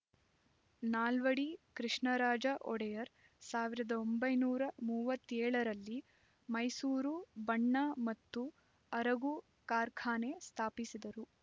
ನಾಲ್ವಡಿ ಕೃಷ್ಣರಾಜ ಒಡೆಯರ್ ಸಾವಿರದ ಒಂಬೈನೂರ ಮೂವತ್ತೆಳ ರಲ್ಲಿ ಮೈಸೂರು ಬಣ್ಣ ಮತ್ತು ಅರಗು ಕಾರ್ಖಾನೆ ಸ್ಫಾಪಿಸಿದರು